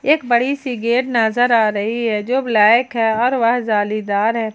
एक बड़ी गेट नजर आ रही है जो ब्लैक है और वह जालीदार है।